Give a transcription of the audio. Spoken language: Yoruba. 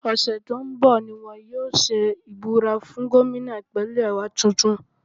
Ọ̀sẹ̀ tó ń bọ̀ ni wọ́n yóò ṣe ìbúra fún gómìnà Ìpínlẹ̀ wa tuntun